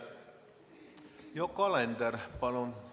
Yoko Alender, palun!